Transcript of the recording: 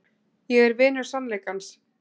Ég er vinur sannleikans.